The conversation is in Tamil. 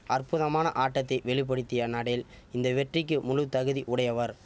அற்புதமான ஆட்டத்தை வெளி படுத்திய நடேல் இந்த வெற்றிக்கு முழு தகுதி உடையவர்